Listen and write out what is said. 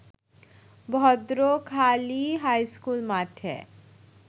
Bhadrakhali high school মাঠে